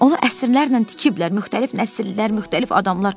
Onu əsrlərlə tikiblər, müxtəlif nəsillər, müxtəlif adamlar.